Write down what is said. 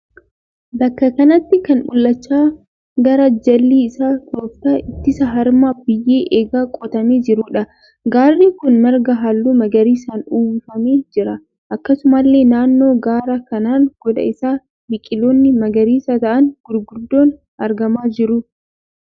Bakka kanatti kan mul'achaa gaara jalli isaa tooftaa ittisa harama biyyee eegee qotamee jiruudha. Gaarri kun marga halluu magariisaan uwwifamee jira. Akkasumallee naannoo gaara kanaan gooda isaa biqiloonni magariisa ta'aan gurguddoon argamaa jiru.